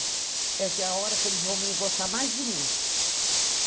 É que é a hora que eles vão me gostar mais de mim.